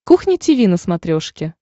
кухня тиви на смотрешке